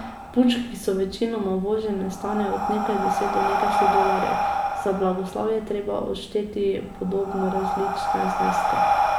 Punčke, ki so večinoma uvožene, stanejo od nekaj deset do nekdaj sto dolarjev, za blagoslov je treba odšteti podobno različne zneske.